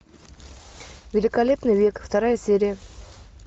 великолепный век вторая серия